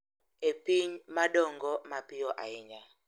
E piny ma dongo mapiyo ahinya.